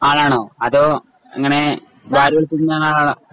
ആയാണോ അതോ ഇങ്ങനെ